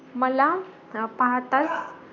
मला पाहताच